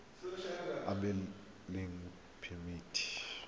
morago ga go abelwa phemiti